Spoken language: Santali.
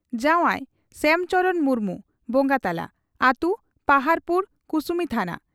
ᱡᱚᱣᱟᱣ ᱺ ᱥᱦᱭᱟᱢ ᱪᱚᱨᱚᱬ ᱢᱩᱨᱢᱩ (ᱵᱚᱸᱜᱟ ᱛᱟᱞᱟ), ᱟᱛᱩ ᱯᱟᱦᱟᱰᱯᱩᱨ ᱠᱩᱥᱩᱢᱤ ᱛᱷᱟᱱᱟ ᱾